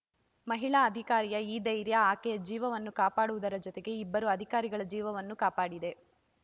ಮಹಿಳಾ ಅಧಿಕಾರಿಯ ಈ ಧೈರ್ಯ ಆಕೆ ಜೀವವನ್ನು ಕಾಪಾಡುವುದರ ಜೊತೆಗೆ ಇಬ್ಬರೂ ಅಧಿಕಾರಿಗಳ ಜೀವವನ್ನೂ ಕಾಪಾಡಿದೆ